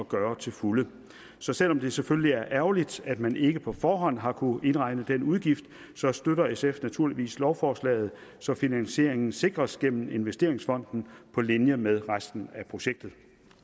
gøre til fulde så selv om det selvfølgelig er ærgerligt at man ikke på forhånd har kunnet indregne den udgift støtter sf naturligvis lovforslaget så finansieringen sikres gennem investeringsfonden på linje med resten af projektet